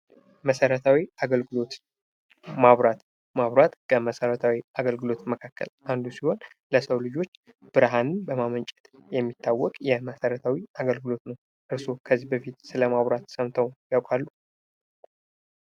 መሠረታዊ አገልግሎት መብራት መብራት ከመሰረታዊ አገልግሎት አንዱ ሲሆን ለሰው ልጆች ብርሃንን በማመንጨት የመሰረታዊ አገልግሎት ነው እርስዎ ስለመብራት ከዚህ በፊት ሰምተው ያውቃሉ?